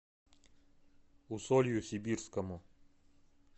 усолью сибирскому